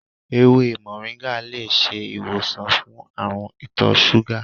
Ewé moringa lè ṣe ìwòsàn fún àrùn itọ́ súgà.